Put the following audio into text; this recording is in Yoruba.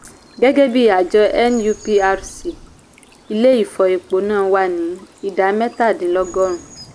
gẹ́gẹ́bí àjọ nuprc ilé ìfọ epo náà wá ní idà mẹ́ta dín lógo rùn.